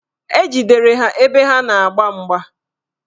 Ejidere ha ebe ha na-agba mgba